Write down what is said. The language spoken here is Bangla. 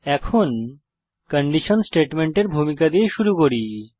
এখন কন্ডিশন স্টেটমেন্টের ভূমিকা দিয়ে শুরু করি